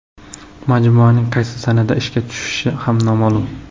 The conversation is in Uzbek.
Majmuaning qaysi sanada ishga tushishi ham noma’lum.